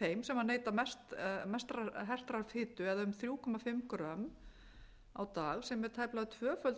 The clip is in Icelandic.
þeim sem neyta mestrar hertrar fitu eða um þrjú og hálft g á dag sem er tæplega